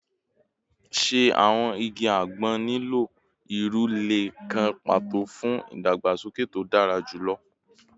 Ṣe awọn igi agbon nilo iru ile kan pato fun idagbasoke to dara julọ?